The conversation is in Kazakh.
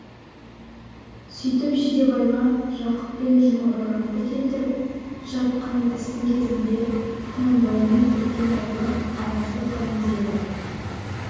сүйтіп жидебайға жақып пен жұмабайларды келтіріп жатқан істің кезінде құнанбаймен үлкен аулы араздық халінде еді